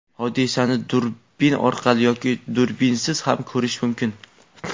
hodisani durbin orqali yoki durbinsiz ham ko‘rish mumkin.